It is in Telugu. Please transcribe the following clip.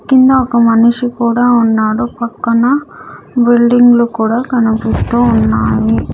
కింద ఒక మనిషి కూడా ఉన్నాడు పక్కన బిల్డింగ్లు కూడా కనిపిస్తూ ఉన్నాయి.